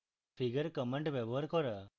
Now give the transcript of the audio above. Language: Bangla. figure command ব্যবহার করা